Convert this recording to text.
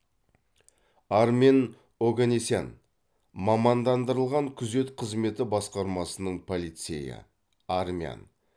армен огенесян мамандандырылған күзет қызметі басқармасының полицейі армян